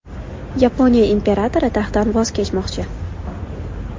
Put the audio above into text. Yaponiya imperatori taxtdan voz kechmoqchi.